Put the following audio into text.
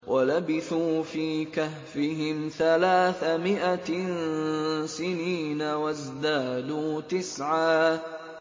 وَلَبِثُوا فِي كَهْفِهِمْ ثَلَاثَ مِائَةٍ سِنِينَ وَازْدَادُوا تِسْعًا